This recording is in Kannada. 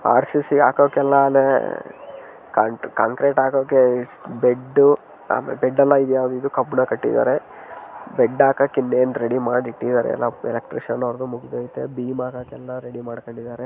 ಆರ್.ಸಿ.ಸಿ. ಹಾಕಕ್ ಎಲ್ಲಾನೆ ಕಾಂಕ್ ಕಾಂಕ್ರೀಟ್ ಹಾಕೋಕೆ ಇಸ್ ಬೆಡ್ಡು ಆಮೇಲ್ ಬೆಡ್ಡಲ್ಲ ಈದ್ ಯಾವುದು ಇದು ಕಬ್ಬಿಣ ಕಟ್ಟಿದ್ದಾರೆ ಬೆಡ್ಡ ಹಾಕಾಕೆ ಇನ್ನೇನು ರೆಡಿ ಮಾಡಿ ಇಟ್ಟಿದ್ದಾರೆ ಎಲ್ಲಾ ಎಲೆಕ್ಟ್ರಿಷನ್ ಅವರದು ಮುಗ್ದಯಿತೇ ಬಿಮ್ ಹಾಕೋಕೆ ಎಲ್ಲಾ ರೆಡಿ ಮಾಡ್ಕಂಡಿದ್ದಾರೆ.